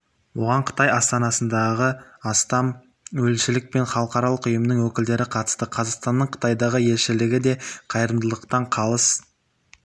оған қытай астанасындағы астам елшілік пен халықаралық ұйымның өкілдері қатысты қазақстанның қытайдағы елшілігі де қайырымдылықтан қалыс